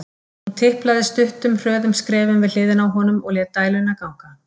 Hún tiplaði stuttum, hröðum skrefum við hliðina á honum og lét dæluna ganga.